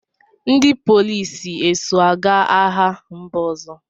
Ndị polisi eso aga agha mba ọzọ?